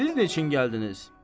Siz neçin gəldiniz?